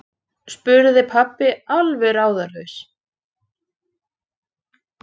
spurði pabbi alveg ráðalaus.